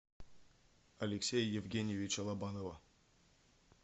алексея евгеньевича лобанова